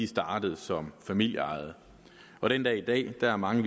startet som familieejede og den dag i dag er der mange